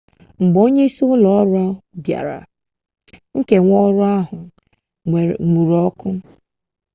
mgbe onye si n'ụlọ ọrụ bịara nkewa ụlọ ahụ enwuru ọkụ